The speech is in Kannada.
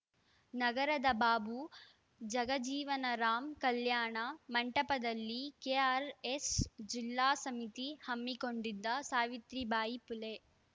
ನಗರದ ಬಾಬು ಜಗಜೀವನ ರಾಂ ಕಲ್ಯಾಣ ಮಂಟಪದಲ್ಲಿ ಕೆಆರ್‌ಎಸ್‌ ಜಿಲ್ಲಾ ಸಮಿತಿ ಹಮ್ಮಿಕೊಂಡಿದ್ದ ಸಾವಿತ್ರಿಬಾಯಿ ಫುಲೆ